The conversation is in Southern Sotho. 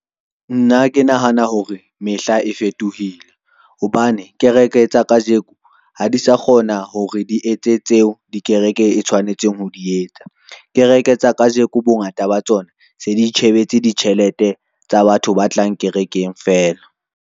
Nna ke nahana hore mehla e fetohile, hobane kereke tsa kajeko ha di sa kgona hore di etse tseo dikereke e tshwanetseng ho di etsa. Kereke tsa kajeko bongata ba tsona se di itjhebetse ditjhelete tsa batho ba tlang kerekeng feela.